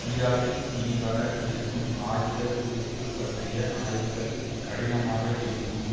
ஈராக்கில் இனி வர இருக்கும் ஆயுதக்குவிப்பு பற்றிய ஆய்வுகள் கடினமாக இருக்கும்